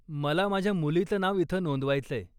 मला माझ्या मुलीचं नाव इथं नोंदवायचंय.